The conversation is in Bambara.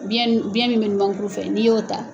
Biyɛn min biyɛn min bɛ numankuru fɛ n'i y'o ta.